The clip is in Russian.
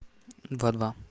два два